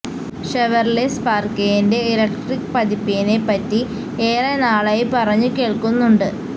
Chevrolet സ്പാര്ക്കിന്റെ electric പതിപ്പിനെ പറ്റി ഏറെ നാളായി പറഞ്ഞു കേള്ക്കുന്നുണ്ട്